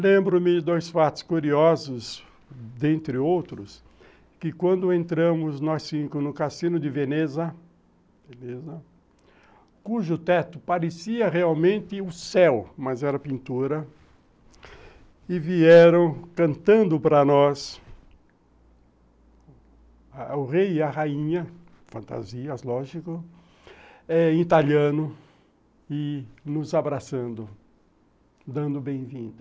Lembro-me de dois fatos curiosos, dentre outros, que quando entramos nós cinco no Cassino de Veneza, Veneza, cujo teto parecia realmente o céu, mas era pintura, e vieram cantando para nós, o rei e a rainha, fantasias, lógico, em italiano, e nos abraçando, dando bem-vindo.